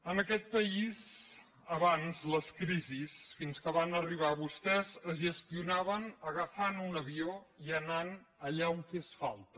en aquest país abans les crisis fins que van arribar vostès es gestionaven agafant un avió i anant allà on fes falta